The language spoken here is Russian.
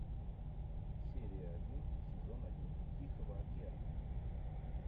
серия один сезон один тихого океана